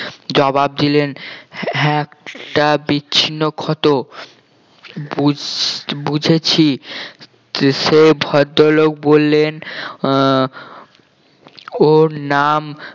জবাব দিলেন হ্যাঁ একটা বিচ্ছিন্ন ক্ষত বুঝ~ বুঝেছি তো সেই ভদ্রলোক বললেন আহ ওর নাম